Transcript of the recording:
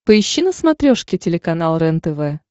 поищи на смотрешке телеканал рентв